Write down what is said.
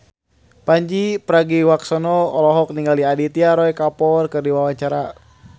Pandji Pragiwaksono olohok ningali Aditya Roy Kapoor keur diwawancara